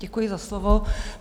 Děkuji za slovo.